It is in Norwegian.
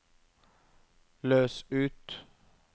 løs ut